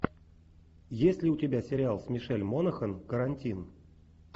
есть ли у тебя сериал с мишель монахэн карантин